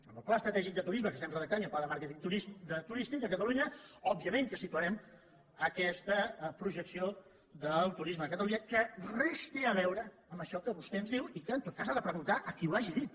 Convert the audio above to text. amb el pla estratègic de turisme que redactem i el pla de màrqueting turístic de catalunya òbviament que situarem aquesta projecció del turisme de catalunya que res té a veure amb això que vostè ens diu i que en tot cas ha de preguntar a qui ho hagi dit